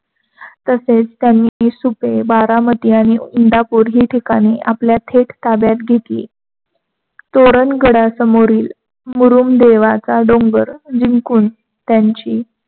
तसेच त्यांनी इसुप, बारामती आणि इंदापूर आपल्या थेट ताब्यात घेतली. तोरण गडासमोरील मुरुमदेवाचा डोंगर जिंकून त्यांची